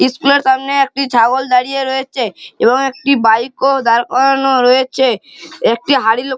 school এ র সামনে একটি ছাগল দাঁড়িয়ে রয়েছে এবং একটি বাইক ও দাঁড় করানো রয়েছে একটি হাড়ি--